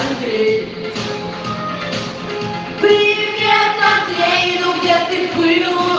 андрей привет её где ты был